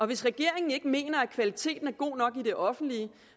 hvis regeringen ikke mener at kvaliteten er god nok i det offentlige